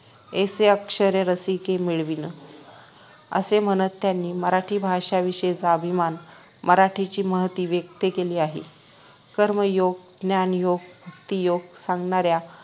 ऐसी अक्षरे रसिके मेळवीन असे म्हणत त्यांनी मराठी भाषेविषयाचा अभिमान मराठीची महती व्यक्त केली आहे कर्मयोग ज्ञानयोग व भक्तीयोग सांगणाऱ्या